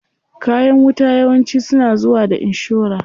Kayan wuta yawanci suna zuwa da inshora.